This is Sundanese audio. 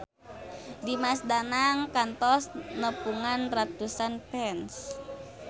Dimas Danang kantos nepungan ratusan fans